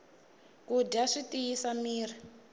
ku dya swi tiyisa mirhi